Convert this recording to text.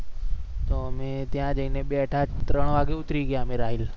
અમે ત્યાં જઈ ને બેઠા ત્રણ વાગે ઉતરી ગયા. આમ રાહિલ